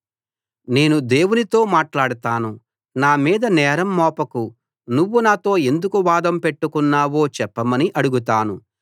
నేను దేవునితో మాట్లాడతాను నా మీద నేరం మోపకు నువ్వు నాతో ఎందుకు వాదం పెట్టుకున్నావో చెప్పమని అడుగుతాను